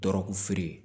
Dɔrɔgufeere